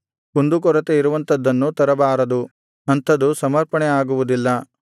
ಕುಂದುಕೊರತೆ ಇರುವಂಥದ್ದನ್ನು ತರಬಾರದು ಅಂಥದು ಸಮರ್ಪಣೆ ಆಗುವುದಿಲ್ಲ